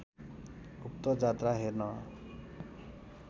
उक्त जात्रा हेर्न